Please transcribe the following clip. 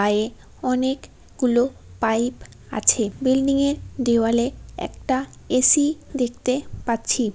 আয়ে অনেক গুলো পাইপ আছে বিল্ডিং -এ দেওয়ালে একটা এ.সি. দেখতে পাচ্ছি ।